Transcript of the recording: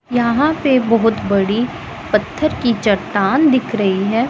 यहां पे बहोत बड़ी पत्थर की चट्टान दिख रही है।